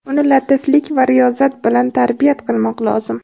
Uni latiflik va riyozat bilan tarbiyat qilmoq lozim.